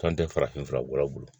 San tɛ farafin fura bɔla bolo